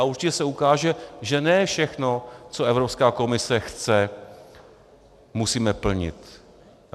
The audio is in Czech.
A určitě se ukáže, že ne všechno, co Evropská komise chce, musíme plnit.